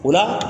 O la